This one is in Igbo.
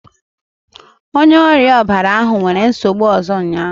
Onye ọrịa ọbara ahụ nwere nsogbu ọzọ ụnyahụ